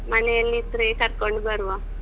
ಮನೆಯಲ್ಲಿದ್ರೆ ಕರ್ಕೊಂಡು ಬರುವ.